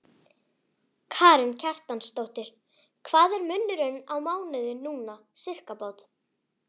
Karen Kjartansdóttir: Hvað er munurinn á mánuði núna, sirkabát?